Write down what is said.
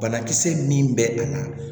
Banakisɛ min bɛ a la